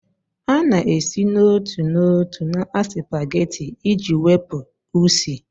Ị na-esi n'otu n'otu na spaghetti iji wepụ Usi?